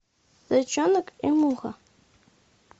зайчонок и муха